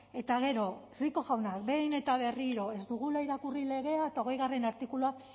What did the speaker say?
eta gero rico jaunak behin eta berriro ez dugula irakurri legea eta hogeigarrena artikulua